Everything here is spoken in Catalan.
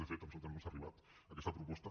de fet a nosaltres no ens ha arribat aquesta proposta